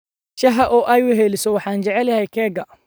Shaaha oo ay weheliso, waxaan jeclahay keega.